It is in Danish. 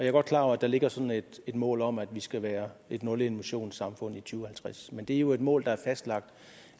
er godt klar over at der ligger sådan et mål om at vi skal være et nulemissionssamfund i to tusind og halvtreds men det er jo et mål der er fastlagt